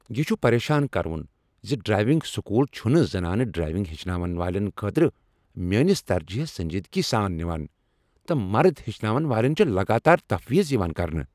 یہ چھ پریشان کرٕوُن ز ڈرائیونگ سکول چھنہٕ زنانہٕ ڈراوِنگ ہیچھناون والین خٲطرٕ میٲنس ترجیحس سنجیدگی سان نوان، تہٕ مرد ہیچھناون والین چھ لگاتار تفویض یوان کرنہٕ۔